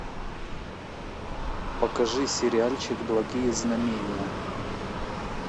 покажи сериальчик благие знамения